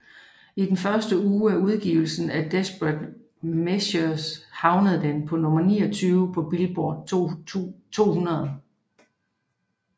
I den første uge af udgivelsen af Desperate Measures havnede den på nummer 29 på Billboard 200